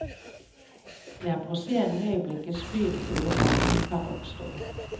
Det er på scenen øyeblikkets frydefulle magi kan oppstå.